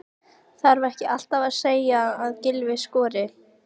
Þarf ekki alltaf að segja að Gylfi skori?